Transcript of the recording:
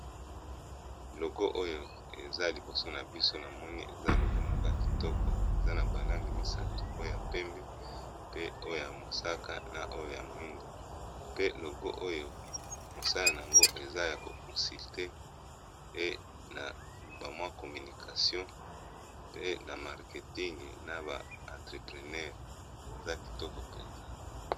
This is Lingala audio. Logo oyo eza liboso na biso namoni eza logo moko ya kitoko, eza na ba langi misato oyo ya pembe, pe oyo ya mosaka, na oyo ya moindo, pe logo oyo mosala na yango eza ya ko consulté pe na ba mwa communication pe na marketing na ba entrepreneur eza kitoko mpenza.